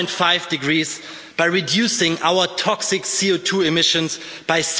1.5 degrees by reducing our toxic CO2 emissions by